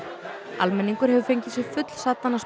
almenningur hefur fengið sig fullsaddan af